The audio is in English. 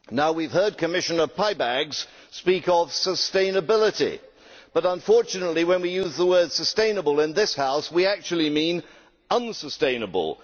We have heard Commissioner Peibalgs speak of sustainability, but unfortunately when we use the word sustainable' in this House we actually mean unsustainable'.